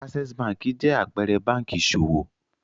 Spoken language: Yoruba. Access Bank jẹ́ àpẹẹrẹ báńkì ìṣòwò.